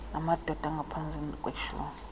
namadod angaphezu kweshum